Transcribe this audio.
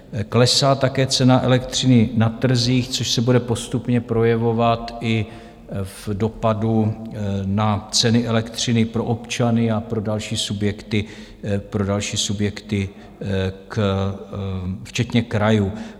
Klesá také cena elektřiny na trzích, což se bude postupně projevovat i v dopadu na ceny elektřiny pro občany a pro další subjekty včetně krajů.